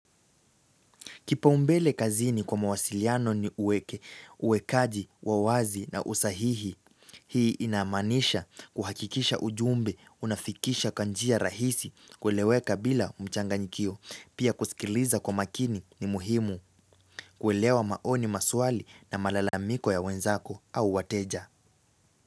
Kipaumbele kazini kwa mawasiliano ni uweke, uwekaji, wa wazi na usahihi, hii inamaanisha kuhakikisha ujumbe, unafikisha kanjia rahisi, kueleweka bila mchanganyikio, pia kusikiliza kwa makini ni muhimu, kuelewa maoni maswali na malalamiko ya wenzako au wateja.